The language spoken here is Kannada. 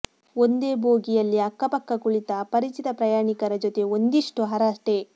ಒಂದೇ ಬೋಗಿಯಲ್ಲಿ ಅಕ್ಕಪಕ್ಕ ಕುಳಿತ ಅಪರಿಚಿತ ಪ್ರಯಾಣಿಕರ ಜೊತೆ ಒಂದಿಷ್ಟು ಹರಟೆ